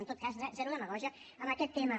en tot cas zero demagògia en aquest tema